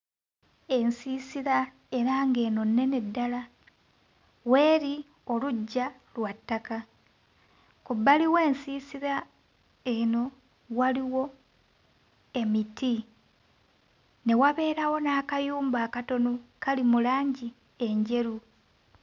Ensiisira era ng'eno nnene ddala, w'eri oluggya lwa ttaka, ku bbali w'ensiisira eno waliwo emiti ne wabeerawo n'akayumba akatono kali mu langi enjeru.